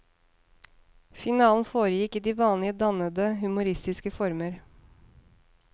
Finalen foregikk i de vanlige dannede humoristiske former.